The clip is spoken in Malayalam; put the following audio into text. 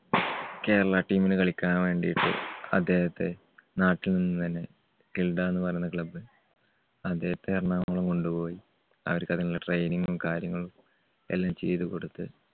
കേരള team ല് കളിക്കാൻ വേണ്ടിട്ട് അദ്ദേഹത്തെ നാട്ടിൽനിന്നുതന്നെ കിൽഡ എന്ന് പറയുന്ന club അദ്ദേഹത്തെ എറണാകുളം കൊണ്ടുപോയി അവർക്ക് അതിനുള്ള training ഉം കാര്യങ്ങളും എല്ലാം ചെയ്തുകൊടുത്ത്